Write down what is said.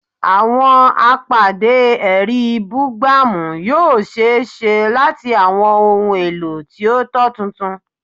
Awọn apade ẹri bugbamu yoo ṣee ṣe lati awọn ohun elo ti o tọ tuntun